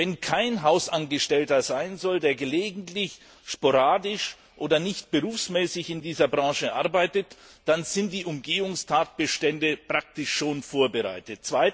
Wenn kein Hausangestellter gelegentlich, sporadisch oder nicht berufsmäßig in dieser Branche arbeiten darf, dann sind die Umgehungstatbestände praktisch schon vorbereitet.